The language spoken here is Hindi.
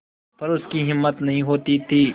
पर उसकी हिम्मत नहीं होती थी